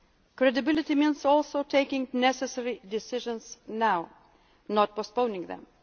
our citizens. Credibility means also taking the necessary decisions now, not postponing